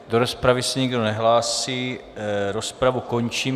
Do rozpravy se nikdo nehlásí, rozpravu končím.